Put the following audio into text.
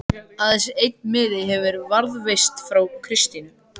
Aðeins einn miði hefur varðveist frá Kristínu